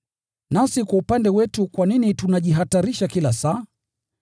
Nasi kwa upande wetu kwa nini tunajihatarisha kila saa?